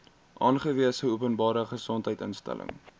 aangewese openbare gesondheidsinstelling